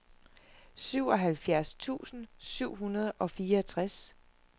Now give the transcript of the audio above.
syvoghalvfjerds tusind syv hundrede og fireogtres